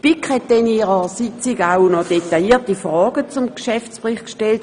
Die BiK hat an ihrer Sitzung detaillierte Fragen zum Geschäftsbericht gestellt.